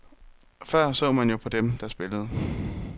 Før så man jo på dem, der spillede.